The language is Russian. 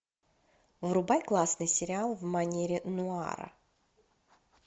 врубай классный сериал в манере нуара